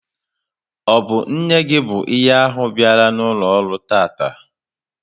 Ọ bụ nne gị bụ ihe ahụ biala n'ụlọ ọrụ tataa?